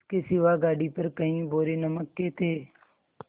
इसके सिवा गाड़ी पर कई बोरे नमक के थे